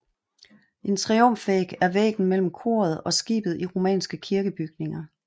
En triumfvæg er væggen mellem koret og skibet i romanske kirkebygninger